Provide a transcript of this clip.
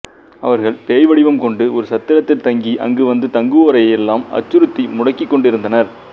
அவர்கள் பேய் வடிவம் கொண்டு ஒரு சத்திரத்தில் தங்கி அங்கு வந்து தங்குவோரையெல்லாம் அச்சுறுத்தி முடுக்கிக்கொண்டிருந்தனர்